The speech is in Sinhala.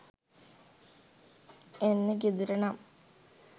එන්නේ ගෙදර නම්,